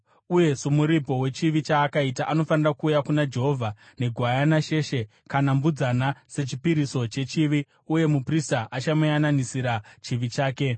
uye somuripo wechivi chaakaita, anofanira kuuya kuna Jehovha negwayana sheshe kana mbudzana sechipiriso chechivi uye muprista achamuyananisira chivi chake.